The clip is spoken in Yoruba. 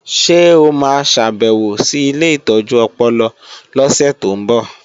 Ṣé o ma ṣàbèwò sí ilé ìtọ́jú ọpọlọ lọ́sẹ̀ tó ń bọ̀?